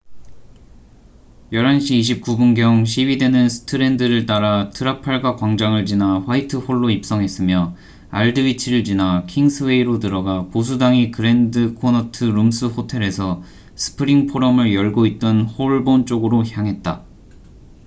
11시 29분 경 시위대는 스트랜드를 따라 트라팔가 광장을 지나 화이트 홀로 입성했으며 알드 위치를 지나 킹스웨이로 들어가 보수당이 그랜드 코너트 룸스 호텔에서 스프링 포럼을 열고 있던 홀본 쪽으로 향했다